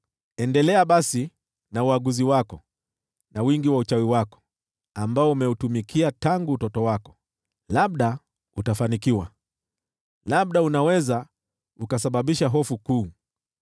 “Endelea basi na uaguzi wako, na wingi wa uchawi wako, ambao umeutumikia tangu utoto wako. Labda utafanikiwa, labda unaweza ukasababisha hofu kuu.